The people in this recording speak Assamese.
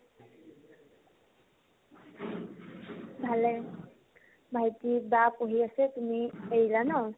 ভাল লাগে ভাইটিক, বাক উলিয়াইছে তুমি এই জানা